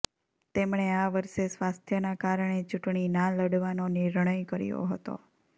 તેમણે આ વર્ષે સ્વાસ્થ્યનાં કારણે ચૂંટણી ના લડવાનો નિર્ણય કર્યો હતો